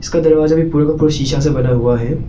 इसका दरवाजा भी पूरा का पूरा शिशा से बना हुआ है।